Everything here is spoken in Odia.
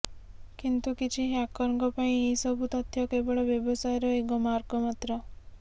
କିନ୍ତୁ କିଛି ହ୍ୟାକରଙ୍କ ପାଇଁ ଏହି ସବୁ ତଥ୍ୟ କେବଳ ବ୍ୟବସାୟର ଏକ ମାର୍ଗ ମାତ୍ର